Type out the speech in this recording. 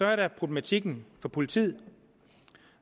er der problematikken for politiet